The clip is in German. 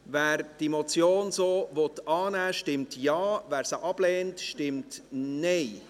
Wer die Motion so annehmen will, stimmt Ja, wer diese ablehnt, stimmt Nein.